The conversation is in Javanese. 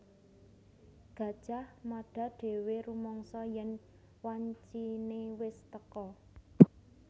Gajah Mada dhéwé rumangsa yèn wanciné wis teka